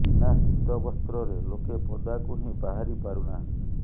ବିନା ଶୀତବସ୍ତ୍ରରେ ଲୋକେ ପଦାକୁ ହିଁ ବାହାରି ପାରୁ ନାହାନ୍ତି